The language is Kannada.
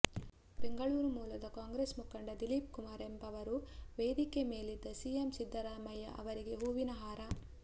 ಬೆಂಗಳೂರು ಮೂಲದ ಕಾಂಗ್ರೆಸ್ ಮುಖಂಡ ದಿಲೀಪ್ ಕುಮಾರ್ ಎಂಬವರು ವೇದಿಕೆ ಮೇಲಿದ್ದ ಸಿಎಂ ಸಿದ್ದರಾಮಯ್ಯ ಅವರಿಗೆ ಹೂವಿನ ಹಾರ